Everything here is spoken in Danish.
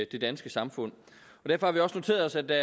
det danske samfund derfor har vi også noteret os at der